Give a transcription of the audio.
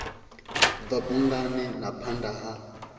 bva bungani na phanda ha